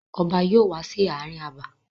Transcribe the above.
Ọba yóò wá sí ààrin abà.